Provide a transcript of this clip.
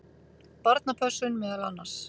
Barnapössun meðal annars.